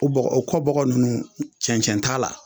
O bɔgɔ o kɔ bɔgɔ nunnu cɛncɛn t'a la